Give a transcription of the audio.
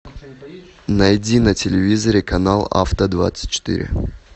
найди на телевизоре канал авто двадцать четыре